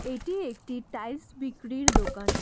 এটি একটি টাইস বিক্রির দোকান।